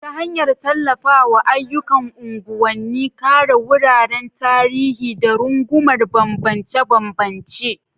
ta hanyar tallafawa ayyukan unguwanni, kare wuraren tarihi, da rungumar bambance-bambance.